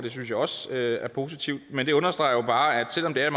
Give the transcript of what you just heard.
det synes jeg også er positivt men det understreger jo bare at selv om det er